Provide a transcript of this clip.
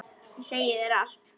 Ég segi þér allt.